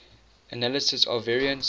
analysis of variance